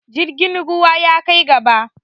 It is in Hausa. Jirgin ruwa ya kai gaba.